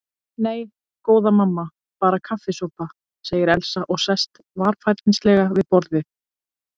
Nei, góða mamma, bara kaffisopa, segir Elsa og sest varfærnislega við borðið.